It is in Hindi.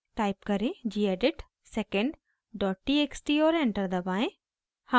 टाइप करें: gedit secondtxt और एंटर दबाएं